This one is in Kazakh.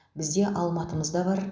бізде алматымыз да бар